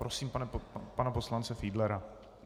Prosím pana poslance Fiedlera.